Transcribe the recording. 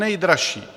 Nejdražší!